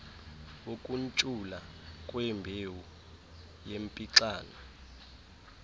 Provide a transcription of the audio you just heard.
wokuntshula kwembewu yempixano